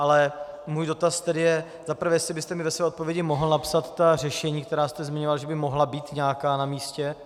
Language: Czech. Ale můj dotaz tedy je, za prvé, jestli byste mi ve své odpovědi mohl napsat ta řešení, která jste zmiňoval, že by mohla být nějaká namístě.